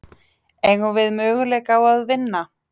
Eigum við möguleika á að vinna?